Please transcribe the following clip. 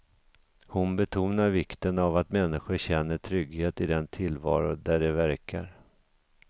Hon betonar vikten av att människor känner trygghet i den tillvaro där de verkar.